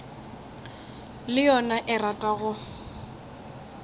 le yona e rata go